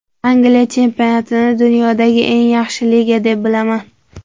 Angliya chempionatini dunyodagi eng yaxshi liga deb bilaman.